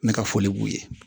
Ne ka foli b'u ye